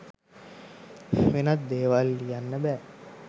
වෙනත් දේවල් ලියන්න බෑ.